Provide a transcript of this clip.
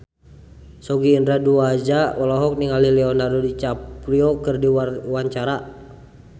Sogi Indra Duaja olohok ningali Leonardo DiCaprio keur diwawancara